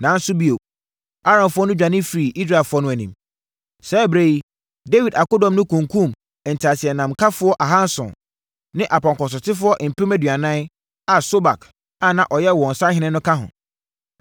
Nanso, bio, Aramfoɔ no dwane firii Israelfoɔ no anim. Saa ɛberɛ yi, Dawid akodɔm no kunkumm nteaseɛnamkafoɔ ahanson ne apɔnkɔsotefoɔ mpem aduanan a Sobak a na ɔyɛ wɔn sahene no ka ho.